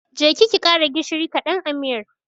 Je ki ki ƙara gishiri ƙadan a miyar.